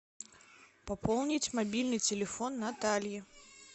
пополнить мобильный телефон натальи